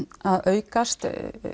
að aukast